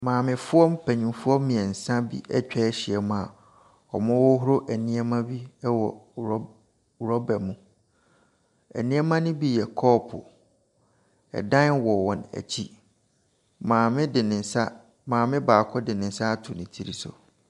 Maamefoɔ mpanimfoɔ mmiɛnsa bi atwa ahyia mu wɔrehoro nneɛma bi mu wɔ rɔba mu. Nneɛma ne bi yɛ kɔɔpo. Dan wɔ wɔn akyi. Maame de nsa maame baako de nsa ato ne tiri so.